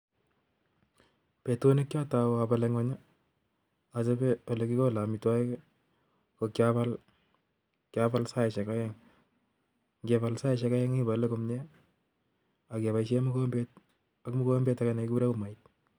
Betut nekiatau abale ngweny achabe ale kikole amitwagik, kokiabal saishek oeng ngebal saishek oeng ibale komie akeboishe mogombet age negikure umait